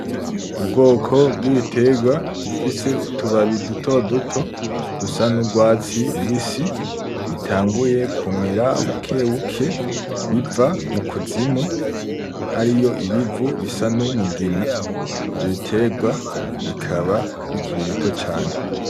Ubwoko bw'ibiterwa, bifise utubabi dutoduto ,dusa n'urwatsi rubisi, bitanguye kumera bukebuke ,biva mukuzimu, hariyo ibivu bisa n'umugina, ivyo biterwa bikaba bikiri bito cane.